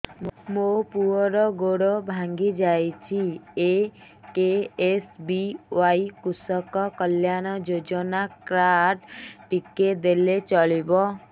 ମୋ ପୁଅର ଗୋଡ଼ ଭାଙ୍ଗି ଯାଇଛି ଏ କେ.ଏସ୍.ବି.ୱାଇ କୃଷକ କଲ୍ୟାଣ ଯୋଜନା କାର୍ଡ ଟି ଦେଲେ ଚଳିବ